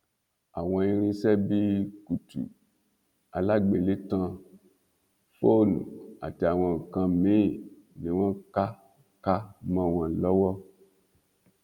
àwọn irinṣẹ bíi kùtù alágbélétan fóònù àti àwọn nǹkan míín ni wọn ká ká mọ wọn lọwọ